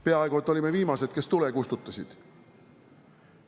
Peaaegu et olime viimased, kes tule kustutasid.